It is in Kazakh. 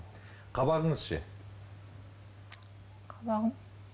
қабағыңыз ше қабағым